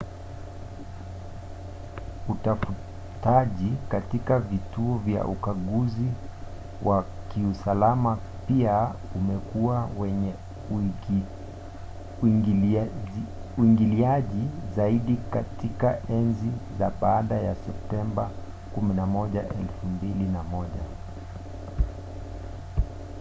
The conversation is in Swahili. utafutaji katika vituo vya ukaguzi wa kiusalama pia umekuwa wenye uingiliaji zaidi katika enzi za baada ya septemba 11 2001